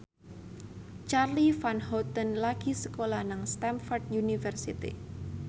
Charly Van Houten lagi sekolah nang Stamford University